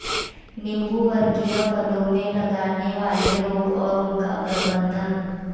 नींबू वर्गीय फलों में लगाने वाले रोग और उनका प्रबंधन